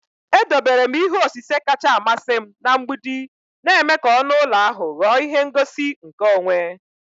Edobere m ihe osise kacha amasị m na mgbidi, na-eme ka ọnụ ụlọ ahụ ghọọ ihe ngosi nke onwe.